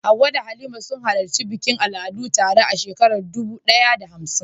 Hawwa da Halima sun halarci bikin al'adu tare a shekarar dubu ɗaya da hamsin.